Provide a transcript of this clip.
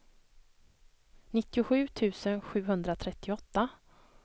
nittiosju tusen sjuhundratrettioåtta